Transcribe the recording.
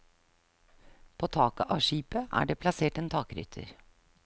På taket av skipet er det plassert en takrytter.